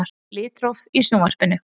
Litróf í Sjónvarpinu.